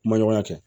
Ma ɲɔgɔn ya kɛ